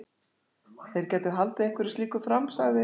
Þeir gætu haldið einhverju slíku fram- sagði